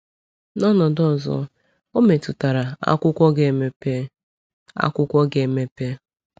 “N’ọnọdụ ọzọ, ọ metụtara ‘akwụkwọ’ ga-emepe.” ‘akwụkwọ’ ga-emepe.”